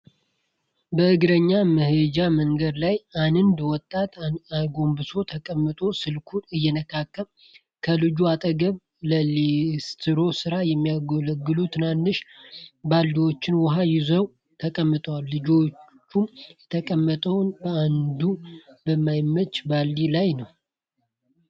በእግረኛ መሄጃ መንገድ ላይ አንድ ወጣት አጎንብሶ ተቀምጦ ስልኩን ይነካካል። ከልጁ አጠገብ ለሊስትሮ ስራ የሚያገለግሉ ትናንሽ ባልዲዎች ዉሃ ይዘው ተቀምጠዋል። ልጁም የተቀመጠው በአንዱ በማይመች ባልዲ ላይ ነው።